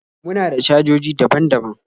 muna da cajoji daban daban